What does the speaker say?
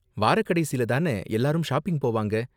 வாரக்கடைசில தான எல்லாரும் ஷாப்பிங் போவாங்க?